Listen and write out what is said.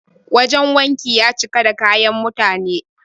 Wajen wankin ya cika da kayan mutane.